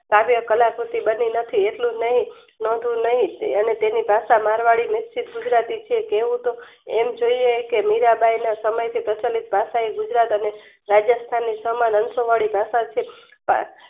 કાવ્ય કાલાકૃતિ બદલીનથી એટલુંજ નહિ અને તેની ભાષા મારવાડી લોકછીંક ગુજરાતી છે. કહેવું તો એમજોઈયે કે મીરાંબાઈ ના સમયથી પ્રચલિત ભાષા એ ગુજરાત અને રાજસ્થાન ની સમાન અંશ વાળી ભાષા છે. કા